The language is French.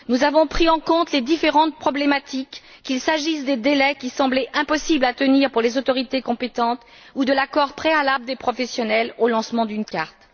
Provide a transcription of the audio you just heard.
Nous avons pris en compte les différentes problématiques, qu'il s'agisse des délais, qui semblaient impossibles à tenir pour les autorités compétentes, ou de l'accord préalable des professionnels au lancement d'une carte.